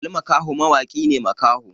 Ali makho mawaki ne makaho